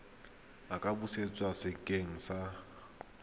a ka busetswa sekeng sa